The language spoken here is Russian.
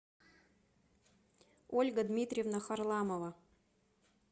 ольга дмитриевна харламова